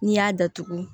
N'i y'a datugu